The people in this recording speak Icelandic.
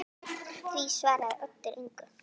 Því svaraði Oddur engu.